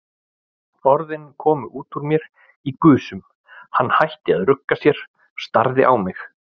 Orðin komu út úr mér í gusum, hann hætti að rugga sér, starði á mig.